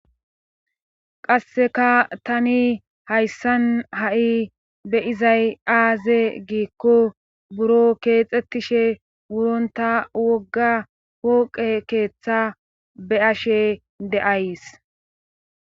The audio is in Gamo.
qasseka tani hayssan ha7i be izay aaze giikko buro keexxettishe wuronta wogga pooqe keeththa be ashe de7ays